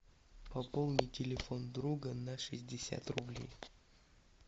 пополни телефон друга на шестьдесят рублей